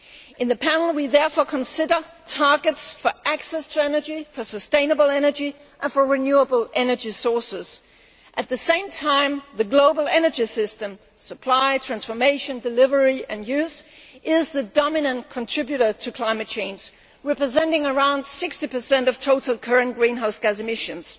In the panel we therefore consider targets for access to energy, for sustainable energy and for renewable energy sources. At the same time, the global energy system supply, transformation, delivery and use is the dominant contributor to climate change, representing around 60 of total current greenhouse gas emissions.